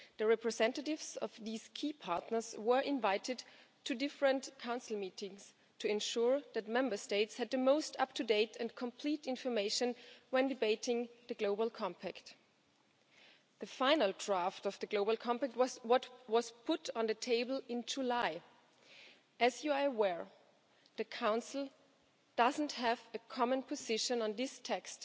Representatives of this key partner body were invited to various Council meetings to ensure that Member States had the most up to date and complete information when debating the global compact, the final draft of which was the document put on the table in July. As you are aware, the Council does not have a common position on this text,